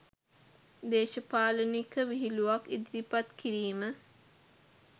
දේශපාලනික විහිළුවක් ඉදිරිපත් කිරීම